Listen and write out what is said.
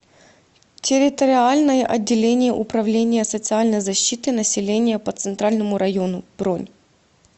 территориальное отделение управления социальной защиты населения по центральному району бронь